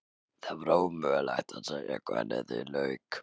Það er ómögulegt að segja hvernig því lauk.